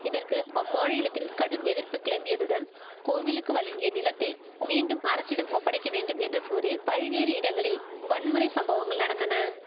இதற்கு அம்மாநிலத்தில் கடும் எதிர்ப்பு கிளம்பியதுடன் கோவிலுக்கு வழங்கிய நிலத்தை மீண்டும் அரசிடம் ஒப்படைக்க வேண்டும் என்று கூறி பல்வேறு இடங்களில் வன்முறை சம்பவங்கள் நடந்தன